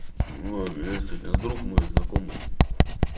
ну у меня сегодня друг мой знакомый